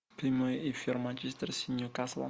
прямой эфир манчестер с ньюкаслом